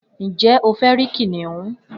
Njẹ o fẹ rí kìnìún?